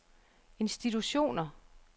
institutioner